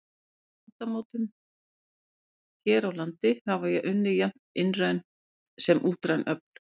Að landmótun hér á landi hafa unnið jafnt innræn sem útræn öfl.